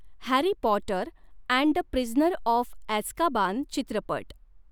Harry Potter and the Prisoner of Azkaban चित्रपट